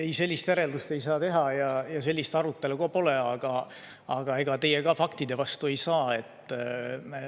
Ei, sellist järeldust ei saa teha ja sellist arutelu ka pole, aga ega teie ka faktide vastu ei saa.